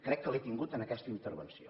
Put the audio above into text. crec que l’he tingut en aquesta intervenció